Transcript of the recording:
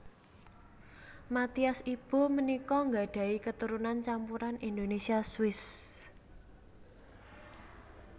Mathias Ibo punika nggadhahi katurunan campuran Indonesia Swiss